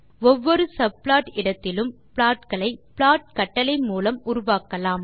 ஒவ்வொரு சப்ளாட் இடத்திலும் ப்ளாட் களை ப்ளாட் கட்டளை மூலம் உருவாக்கலாம்